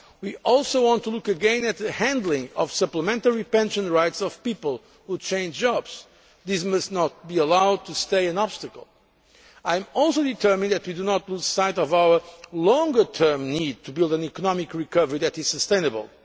Move card. We also want to look again at the handling of supplementary pension rights of people who change jobs this must not be allowed to remain an obstacle. I am also determined that we do not lose sight of our longer term need to build an economic recovery that is